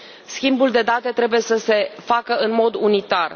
Schimbul de date trebuie să se facă în mod unitar.